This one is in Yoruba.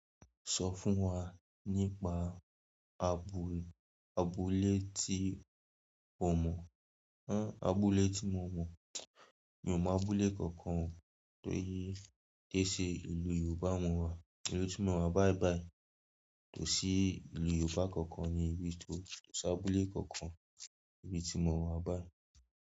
Sọ fún wa nípa abúlé tí o mọ̀, abúlé tí mo mọ̀, mi ò mọ̀ abúlé kankan nítorí pé ṣe ìlú Yorùbá mọ̀ wa, ìlú tí mo rà báyi báyi tò sí ìlú Yorùbá kankan ni ibi tí mo tọ́ ṣọ́ abúlé kankan níbi tí mo wà báyi.